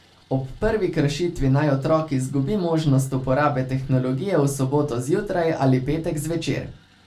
Ob prvi kršitvi naj otrok izgubi možnost uporabe tehnologije v soboto zjutraj ali petek zvečer.